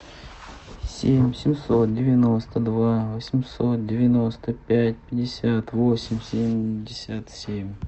семь семьсот девяносто два восемьсот девяносто пять пятьдесят восемь семьдесят семь